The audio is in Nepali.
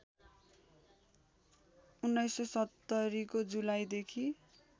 १९७० को जुलाईदेखि